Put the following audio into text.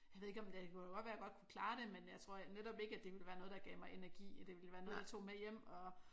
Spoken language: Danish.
Jeg ved ikke om det kunne da godt være jeg godt kunne klare det men jeg tror netop ikke at det ville være noget der gav mig energi at det ville være noget jeg tog med hjem og